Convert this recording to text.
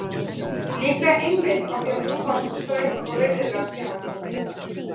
Líklega einmitt af því að hún var svo ströng og virðuleg að sjá.